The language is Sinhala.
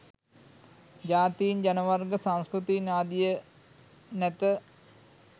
ජාතීන් ජනවර්ග සංස්කෘතීන් ආදිය නැත.